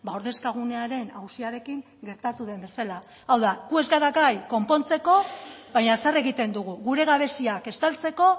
ordezkagunearen auziarekin gertatu den bezala hau da gu ez gara gai konpontzeko baina zer egiten dugu gure gabeziak estaltzeko